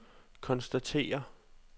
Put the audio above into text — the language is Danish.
konstaterer